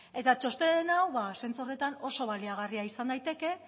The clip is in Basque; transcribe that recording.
eta txosten hau bada zentzu horretan oso baliagarria izan daiteke